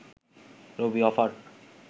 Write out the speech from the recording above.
Rabi offer